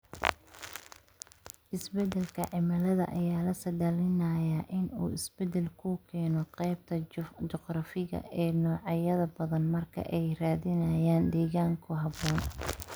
Isbeddelka cimilada ayaa la saadaalinayaa in uu isbeddel ku keeno qaybinta juqraafiga ee noocyada badan marka ay raadinayaan degaan ku habboon.